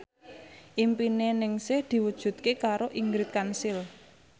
impine Ningsih diwujudke karo Ingrid Kansil